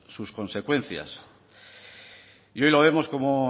sus consecuencias y bien lo vemos como